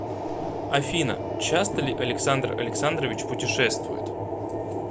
афина часто ли александр александрович путешествует